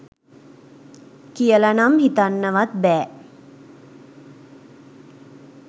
කියලනම් හිතන්නවත් බෑ